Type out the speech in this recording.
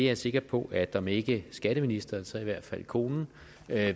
er sikker på at om ikke skatteministeren så i hvert fald konen